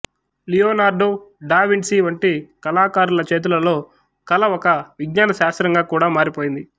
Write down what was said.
Leonardo da Vinci వంటి కళాకారుల చేతులలో కళ ఒక విజ్ఞాన శాస్త్రంగా కూడా మారిపోయింది